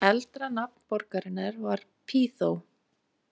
Eldra nafn borgarinnar var Pýþó.